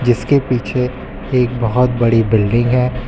जिसके पीछे एक बहुत बड़ी बिल्डिंग है।